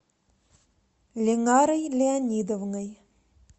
линарой леонидовной